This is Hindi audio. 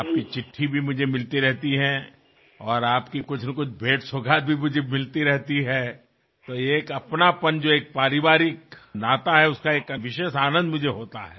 आपकी चिट्ठी भी मुझे मिलती रहती है और आपकी कुछनाकुछ भेंटसौगात भी मुझे मिलती रहती है तो ये एक अपनापनजो एक पारिवारिक नाता है उसका एक विशेष आनंद मुझे होता है